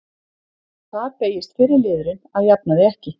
Þar beygist fyrri liðurinn að jafnaði ekki.